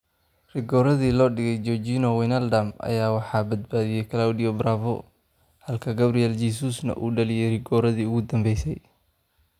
Rigooradii loo dhigay Georginio Wijnaldum ayaa waxaa badbaadiyay Claudio Bravo halka Gabriel Jesus uu dhaliyay rigooradii ugu dambeysay.